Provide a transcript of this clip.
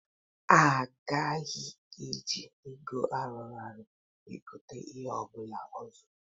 A gaghị eji ego ayọrọ egote ihe ọ bụla ọzọ.